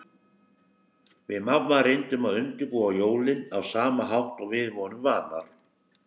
Við mamma reyndum að undirbúa jólin á sama hátt og við vorum vanar.